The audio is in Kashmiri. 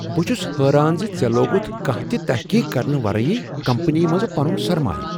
بہٕ چھس حیران ز ژےٚ لوگُتھ کانٛہہ تہ تحقیق کرنہٕ ورٲیی کمپنی منز پنن سرمایہ۔